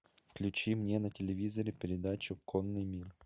включи мне на телевизоре передачу конный мир